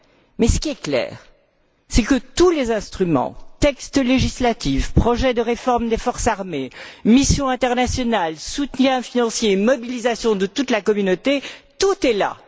Mais ce qui est clair, c'est que tous les instruments textes législatifs, projets de réforme des forces armées, missions internationales, soutiens financiers et mobilisation de toute la Communauté, tout est là.